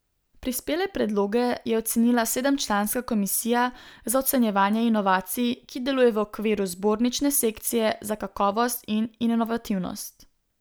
Prispele predloge je ocenila sedemčlanska komisija za ocenjevanje inovacij, ki deluje v okviru zbornične sekcije za kakovost in inovativnost.